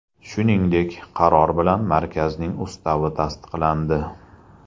Shuningdek, qaror bilan markazning ustavi tasdiqlandi.